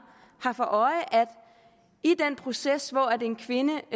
for øje at i den proces hvor en kvinde